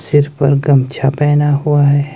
सिर पर गमछा पहन हुआ है।